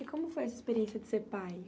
E como foi a sua experiência de ser pai?